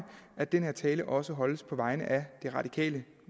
at den her tale også holdes på vegne af det radikale